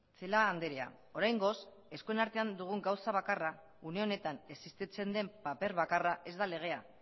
celaá andrea oraingoz eskuen artean dugun gauza bakarra une honetan existitzen den paper bakarra ez da legea